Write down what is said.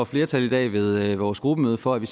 flertal i dag ved vores gruppemøde for at vi